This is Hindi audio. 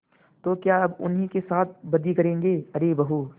तो क्या अब उन्हीं के साथ बदी करेंगे अरे बहू